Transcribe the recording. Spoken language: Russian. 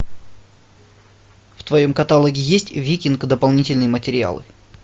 в твоем каталоге есть викинг дополнительные материалы